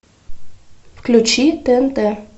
включи тнт